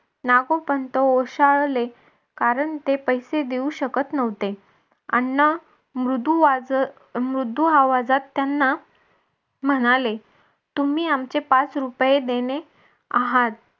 नागोपंत ओशाळले कारण ते पैसे देऊ शकत नव्हते. अण्णा मृदू वाज मृदू आवाजात त्यांना म्हणाले तुम्ही आमचे पाच रुपये देणे आहात.